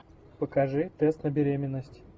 покажи тест на беременность